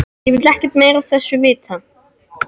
Ég vil ekkert meira af þessu vita.